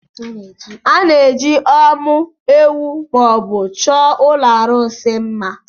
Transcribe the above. A na-eji ọ́mụ́ ewù ma ọ bụ chọọ ụlọ arụsị mma.